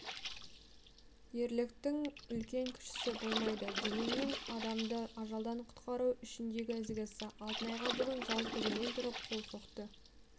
ерліктің үлкен-кішісі болмайды дегенмен адамды ажалдан құтқару ішіндегі ізгісі алтынайға бүгін зал тігінен тұрып қол соқты